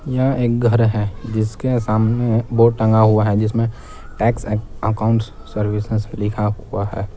यह एक घर है जिसके सामने बोर्ड टंगा हुआ है जिसमें टैक्स अकाउंट सर्विसेज लिखा हुआ है।